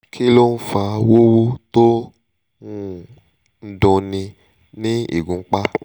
kí ló ń fa wuwu to um n dunni ni igunpà?